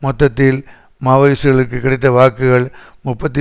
மொத்தத்தில் மாவோயிஸ்ட்டுக்களுக்கு கிடைத்த வாக்குகள் முப்பத்தி